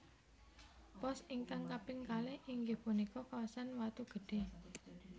Pos ingkang kaping kalih inggih punika kawasan Watu Gede